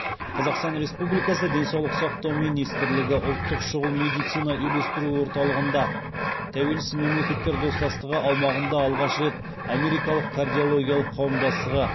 қазақстан республикасы денсаулық сақтау министрлігі ұлттық шұғыл медицина үйлестіру орталығында тәуелсіз мемлекеттер достастығы аумағында алғаш рет америкалық кардиологиялық қауымдастығы